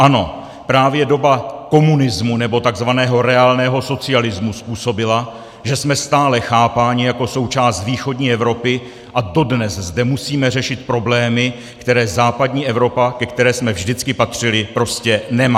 Ano, právě doba komunismu, nebo tzv. reálného socialismu způsobila, že jsme stále chápáni jako součást východní Evropy a dodnes zde musíme řešit problémy, které západní Evropa, ke které jsme vždycky patřili, prostě nemá.